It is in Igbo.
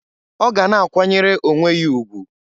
Ọ ga na-akwanyere onwe ya ugwu.